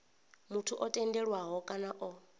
muthu o tendelwaho kana o